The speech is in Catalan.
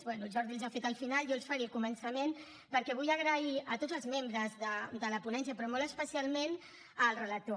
bé el jordi els ha fet al final jo els faré al començament perquè vull donar les gràcies a tots els membres de la ponència però molt especialment al relator